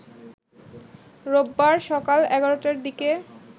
রোববার সকাল ১১টার দিকে